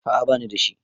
A'a bani da shi.